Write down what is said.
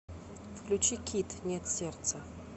включи кидд нет сердца